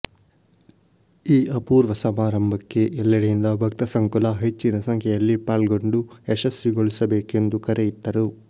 ಈ ಅಪೂರ್ವ ಸಮಾರಂಭಕ್ಕೆ ಎಲ್ಲೆಡೆಯಿಂದ ಭಕ್ತ ಸಂಕುಲ ಹೆಚ್ಚಿನ ಸಂಖ್ಯೆಯಲ್ಲಿ ಪಾಲ್ಗೊಂಡು ಯಶಸ್ವಿಗೊಳಿಸಬೇಕೆಂದು ಕರೆಯಿತ್ತರು